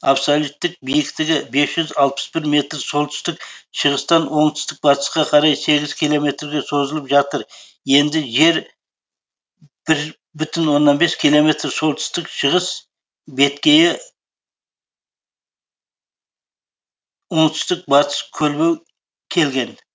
абсолюттік биіктігі бес жүз алпыс бір метр солтүстік шығыстан оңтүстік батысқа қарай сегіз километрге созылып жатыр енді жер бір бүтін оннан бес километр солтүстік шығыс беткейі оңтүстік батысы көлбеу келген